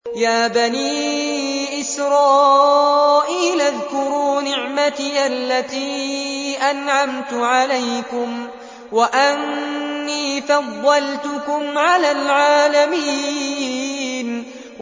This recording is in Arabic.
يَا بَنِي إِسْرَائِيلَ اذْكُرُوا نِعْمَتِيَ الَّتِي أَنْعَمْتُ عَلَيْكُمْ وَأَنِّي فَضَّلْتُكُمْ عَلَى الْعَالَمِينَ